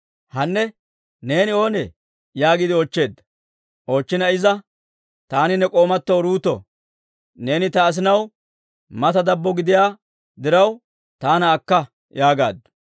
«Hannee, neeni oonee?» yaagiide oochcheedda. Iza, «Taani ne k'oomatoo Uruuto; neeni ta asinaw mata dabbo gidiyaa diraw, taana akka» yaagaaddu.